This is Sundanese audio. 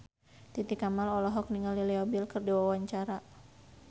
Titi Kamal olohok ningali Leo Bill keur diwawancara